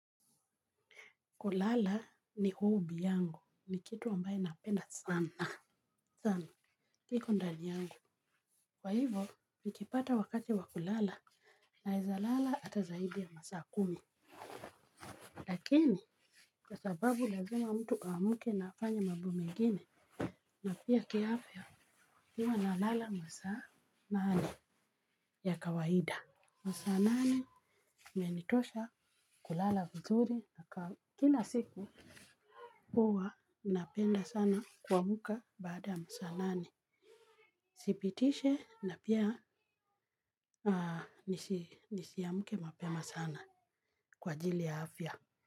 Kulala ni hobby yangu, ni kitu ambaye napenda sana. Sana, kiko ndani yangu. Kwa hivo, nikipata wakati wa kulala naeza lala hata zaidi ya masaa kumi. Lakini kwa sababu lazima mtu aamke na afanye mambo mengine na pia kiafya, huwa nalala masaa nane ya kawaida. Masaa nane imenitosha kulala vizuri na kila siku huwa napenda sana kuamka baada ya masaa nane. Sipitishi na pia nisiamke mapema sana kwa ajili ya afya.